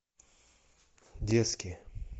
детские